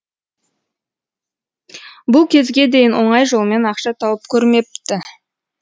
бұл кезге дейін оңай жолмен ақша тауып көрмепті